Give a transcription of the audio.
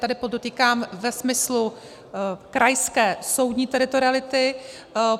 Tady podotýkám ve smyslu krajské soudní teritoriality.